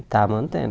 Está mantendo.